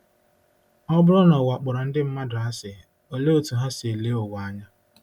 Ọ bụrụ na ụwa kpọrọ ndị mmadụ asị, olee otú ha si ele ụwa anya?